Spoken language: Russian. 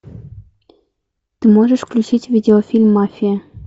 ты можешь включить видеофильм мафия